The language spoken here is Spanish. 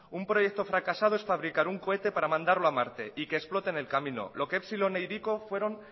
un proyecto fracasado es fabricar un cohete para mandarlo a marte y que explote en el camino lo que epsilon e hiriko fueron